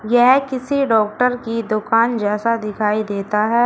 यह किसी डॉक्टर की दुकान जैसा दिखाई देता है।